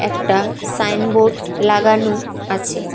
একটা সাইনবোর্ড লাগানো আছে।